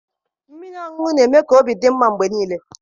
Mmiri ọṅụṅụ na-eme ka obi dị mma mgbe niile